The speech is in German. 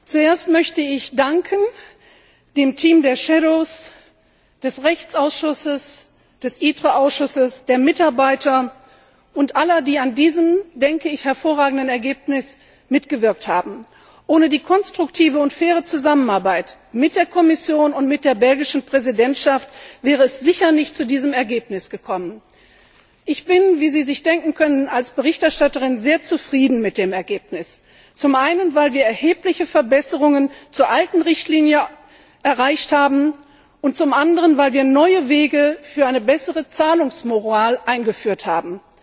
Zuerst möchte ich dem Team der Schattenberichterstatter des Rechtsausschusses und des Ausschusses für Industrie, Forschung und Energie, den Mitarbeitern und allen, die an diesem hervorragenden Ergebnis mitgewirkt haben, danken. Ohne die konstruktive und faire Zusammenarbeit mit der Kommission und mit der belgischen Präsidentschaft wäre es sicher nicht zu diesem Ergebnis gekommen. Ich bin wie Sie sich denken können als Berichterstatterin sehr zufrieden mit dem Ergebnis, zum einen, weil wir erhebliche Verbesserungen gegenüber der alten Richtlinie erreicht haben, und zum anderen, weil wir neue Wege für eine bessere Zahlungsmoral eingeführt haben.